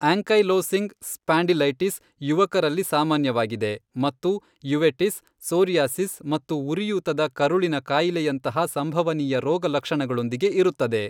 Ankylosing spondylitis ಯುವಕರಲ್ಲಿ ಸಾಮಾನ್ಯವಾಗಿದೆ ಮತ್ತು ಯುವೆಟಿಸ್, ಸೋರಿಯಾಸಿಸ್ ಮತ್ತು ಉರಿಯೂತದ ಕರುಳಿನ ಕಾಯಿಲೆಯಂತಹ ಸಂಭವನೀಯ ರೋಗಲಕ್ಷಣಗಳೊಂದಿಗೆ ಇರುತ್ತದೆ.